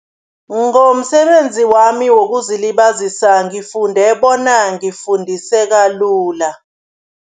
Ngomsebenzi wami wokuzilibazisa ngifunde bona ngifundiseka lula.